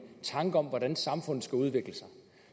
tanke om hvordan samfundet skal udvikle sig